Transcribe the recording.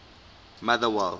motherwell